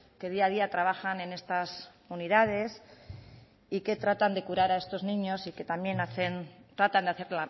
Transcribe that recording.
que día a día trabajan en estas unidades y que tratan de curar a estos niños y que también hacen tratan de hacer